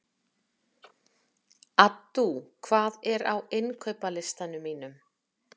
Addú, hvað er á innkaupalistanum mínum?